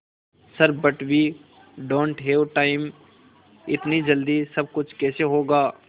sir but we don't have time इतनी जल्दी सब कुछ कैसे होगा